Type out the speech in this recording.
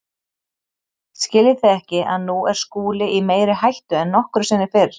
Skiljið þið ekki að nú er Skúli í meiri hættu en nokkru sinni fyrr.